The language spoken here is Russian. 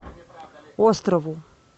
острову